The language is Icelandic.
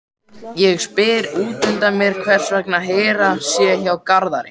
Ég spyr útundan mér hvers vegna Hera sé hjá Garðari.